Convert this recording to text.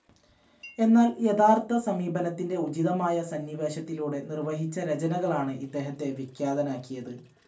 എന്നാൽ യഥാർത്ഥ സമീപനത്തിൻ്റെ ഉചിതമായ സന്നിവേശത്തിലൂടെ നിർവഹിച്ച രചനകളാണ് ഇദ്ദേഹത്തെ വിഖ്യാതനാക്കിയത്.